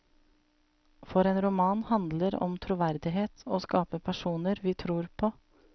For en roman handler om troverdighet, å skape personer vi tror på.